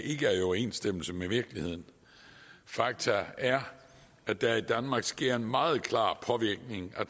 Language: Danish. ikke er i overensstemmelse med virkeligheden fakta er at der i danmark sker en meget klar påvirkning af